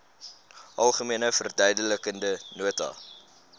algemene verduidelikende nota